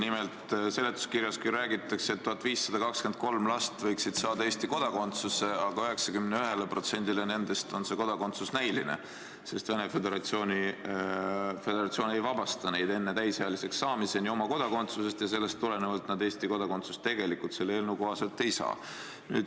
Nimelt, seletuskirjas räägitakse, et 1523 last võiksid saada Eesti kodakondsuse, aga 91%-le nendest on see kodakondsuse võimalus näiline, sest Venemaa Föderatsioon ei vabasta neid enne täisealiseks saamist oma kodakondsusest ja sellest tulenevalt nad Eesti kodakondsust tegelikult selle eelnõu kohaselt ei saa.